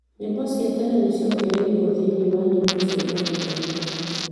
Nyĩmbo cia tene nĩ ciongereirũo thĩinĩ wa nyĩmbo cia mahinda maya.